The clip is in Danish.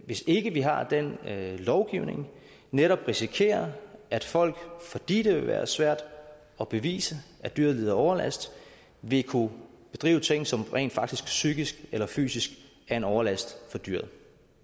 hvis ikke vi har den lovgivning netop risikerer at folk fordi det vil være svært at bevise at dyret lider overlast vil kunne bedrive ting som rent faktisk psykisk eller fysisk er en overlast for dyret